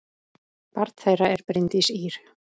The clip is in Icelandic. Barn þeirra er Bryndís Ýr.